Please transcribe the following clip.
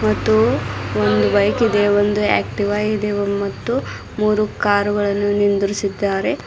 ಮತ್ತು ಒಂದು ಬೈಕ್ ಇದೆ ಒಂದು ಆಕ್ಟಿವಾ ಇದೆ ಮತ್ತು ಮೂರು ಕಾರುಗಳನ್ನು ನಿಂದ್ರಿಸಿದ್ದಾರೆ.